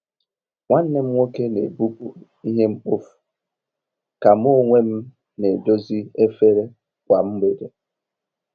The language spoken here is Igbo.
Nwanne m nwoke n'ebupụ ihe mkpofu, ka mu onwem n'edozi efere kwa mgbede.